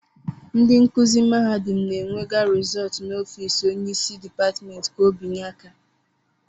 ndị nkuzi mahadum na-enwega rezóótu n'ọfiisi Onye isi dipátimènti ka obinye aka